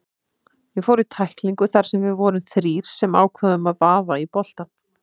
Ég fór í tæklingu þar sem við vorum þrír sem ákváðum að vaða í boltann.